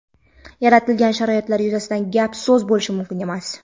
Yaratilgan sharoitlar yuzasidan gap-so‘z bo‘lishi mumkin emas.